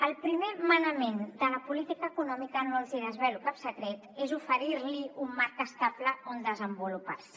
el primer manament de la política econòmica no els desvelo cap secret és oferir li un marc estable on desenvolupar se